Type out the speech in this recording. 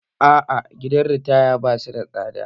Aa, gidan ritaya ba su da tsada